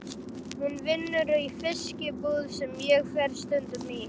Hún vinnur í fiskbúð sem ég fer stundum í.